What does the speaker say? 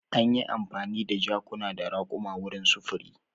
Anyi amfani da jakuna da raƙuma wurin sufuri.